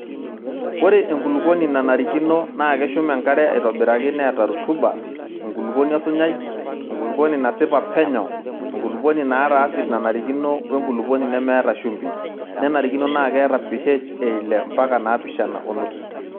Ore enkulukuoni nanarikino naakeshum enkare aitobiraki neta rutuba (enkulukuoni osunyai, enkulukuoni nasipa penyo, enkuluponi naata asid nanarikino wenkulupuoni nemeeta shumbi) nenarikino naa keeta PH eile ompaka napishana onusu.